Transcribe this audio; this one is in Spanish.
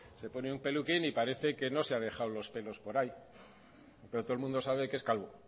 se pone un peluquín parece que no se ha dejado los pelo por ahí pero todo el mundo sabe que es calvo